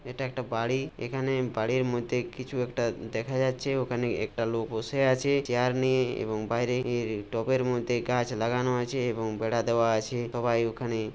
এটা একটা বাড়ি। এখানে বাড়ির মধ্যে কিছু একটা দেখা যাচ্ছে। ওখানে একটা লোক বসে আছে চেয়ার নিয়ে এবং বাইরে এর টপের মধ্যে গাছ লাগানো আছে এবং বেড়া দেওয়া আছে। সবাই ওখানে।